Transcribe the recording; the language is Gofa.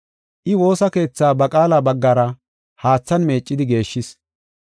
I woosa keethaa ba qaala baggara haathan meeccidi geeshshis.